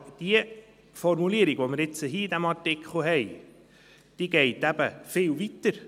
Aber diese Formulierung, die wir nun hier in diesem Artikel haben, geht eben viel weiter.